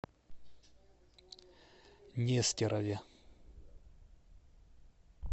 нестерове